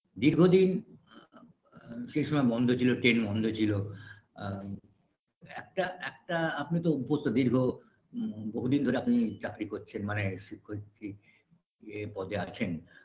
দীর্ঘদিন আ আ সেই সময় বন্ধ ছিল train বন্ধ ছিল আ একটা একটা আপনি তো অভ্যস্ত দীর্ঘ বহুদিন ধরে আপনি চাকরি করছেন মানে শিক্ষয়িত্রী এ পদে আছেন